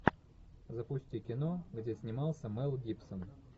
запусти кино где снимался мел гибсон